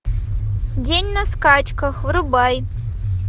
день на скачках врубай